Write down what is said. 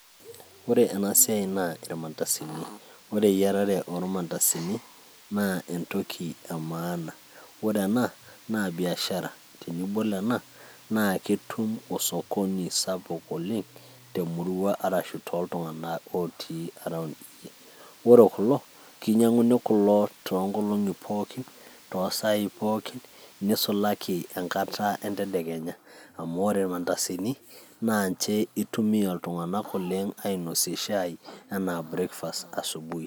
ore ena siai naa irmandasini. ore eyiarare oormandasini naa entoki emaana. ore ena naabiashara, tenibol ena, naa ketum osokoni sapuk oleng, temurua arashu tooltunganak otii around iyie, ore kulo kinyiang'uni kulo too nkolong'i pokin toosaai pokin, nisulaki enkata entedekenya, amu ore irmandasini naa ninche itumia iltunganak kumok oleng ainosie shai anaa breakfast asubui.